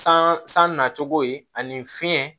San san nacogo ye ani fiɲɛ